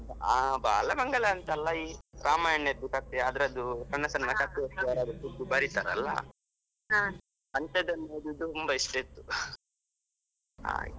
ಹಾ ಬಾಲಮಂಗಳ ಅಂತಲ್ಲ ಈ ರಾಮಾಯಣದ್ದು ಕಥೆ ಅದ್ರದ್ದು ಸಣ್ಣ ಸಣ್ಣ ಕಥೆ ಯಾರಾದ್ರೂ ಬರೀತಾರಲ್ವ ಅಂಥದನ್ನ ಓದೋದು ತುಂಬಾ ಇಷ್ಟ ಇತ್ತು ಹಾಗೆ.